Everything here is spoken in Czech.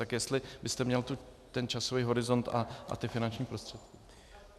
Tak jestli byste měl ten časový horizont a ty finanční prostředky.